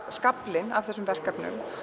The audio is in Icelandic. skaflinn af þessum verkefnum